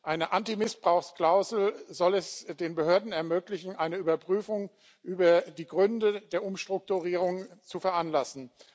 Eine Anti Missbrauchsklausel soll es den Behörden ermöglichen, eine Überprüfung der Gründe für die Umstrukturierung zu veranlassen.